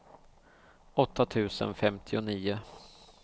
åtta tusen femtionio